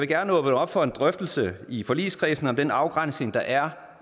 gerne åbne op for en drøftelse i forligskredsen af om den afgrænsning der er